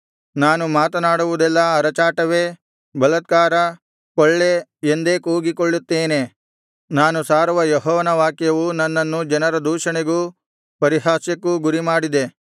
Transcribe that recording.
ನಾನು ಮಾತನಾಡುವುದೆಲ್ಲಾ ಅರಚಾಟವೇ ಬಲಾತ್ಕಾರ ಕೊಳ್ಳೆ ಎಂದೇ ಕೂಗಿಕೊಳ್ಳುತ್ತೇನೆ ನಾನು ಸಾರುವ ಯೆಹೋವನ ವಾಕ್ಯವು ನನ್ನನ್ನು ಜನರ ದೂಷಣೆಗೂ ಪರಿಹಾಸ್ಯಕ್ಕೂ ಗುರಿಮಾಡಿದೆ